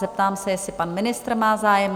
Zeptám se, jestli pan ministr má zájem?